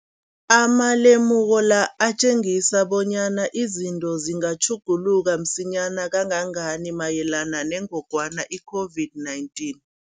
Amalemuko la atjengisa bonyana izinto zingatjhuguluka msinyana kangangani mayelana nengogwana i-COVID-19.